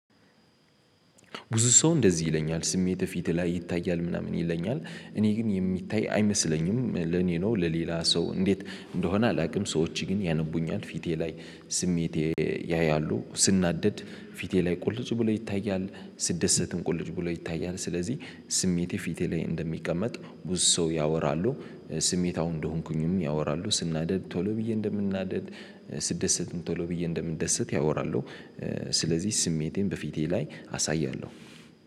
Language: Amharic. ብዙ ሰው እንደዚህ ይለኛል፤ ስሜትህ ፊትህ ላይ ይታያል ምናምን ይለኛል፤ እኔ ግን የሚታይ አይመስለኝም፤ ለኔ ነው ለሌላ ሰው እንዴት እንደሆነ አላውቅም፤ ሰዎች ግን ያነቡኛል ፊቴ ላይ ስሜቴ ያያሉ፤ ስናደድ ፊቴ ላይ ቁልጭ ብሎ ይታያል፤ ስደሰትም ቁልጭ ብሎ ይታያል። ስለዚህ ስሜቴ ፊቴ ላይ እንደሚቀመጥ ብዙ ሰው ያወራሉ። ስሜታው እንደሆንኩኝም ያወራሉ፤ ስናደድ ቶሎ ብዬ እንደምናደድ ስደሰትም ቶሎ ብዬ እንደምንደሰት ያወራሉ። ስለዚህ ስሜቴን በፊቴ ላይ አሳያለሁ።